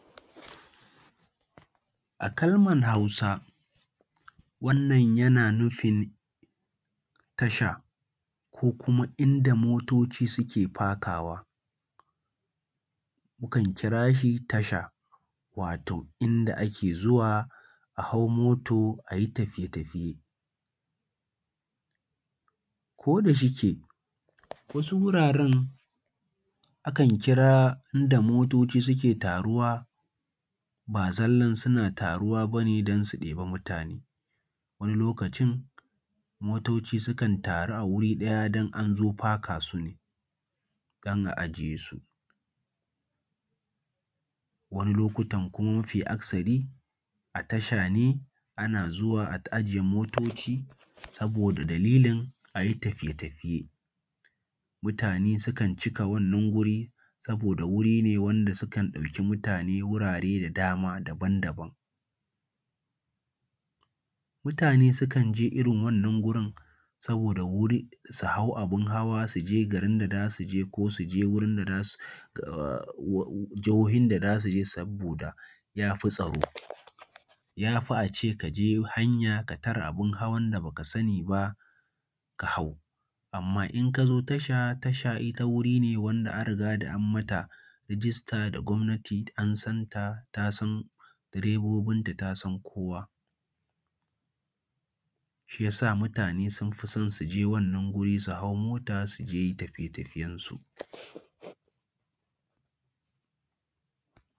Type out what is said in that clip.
A kalmar Hausa wannan yana nufin tasha ko kuma inda motoci suke fakawa, mukan kira shi tasha, wato inda ake zuwa a hau moto a yi tafiye-tafiye. Ko da shike wasu wuraren akan kira inda motoci suke taruwa ba zallan suna taruwa bane don su ɗebi mutane, wani lokacin motoci sukan taru wuri ɗaya don anzo faka su ne don a ajiye su. Wani lokutan kuma mafi akasari a tasha ne ana zuwa a ajiye motoci saboda dalilin a yi tafiye-tafiye, mutane sukan cika wannan wuri saboda wuri ne wanda sukan ɗauki mutane wurare da dama daban-daban. Mutane sukan je irin wannan wurin saboda wuri, su hau abin hawa su je garin da za su je ko su je da za su ahh jahohin da za su je saboda ya fi tsaro. Ya fi a ce ka je hanya ka tare abin hawan da baka sani ba ka hau, amma in ka zo tasha, tasha ita wuri ne wanda an riga da an mata rijista da gwamnati an santa, ta san direbobin ta ta san kowa shiyasa mutane sun fi so suje wannan wuri su hau mota su je tafiye-tafiyensu.